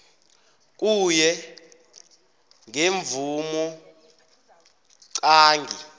kuye ngemvumo qange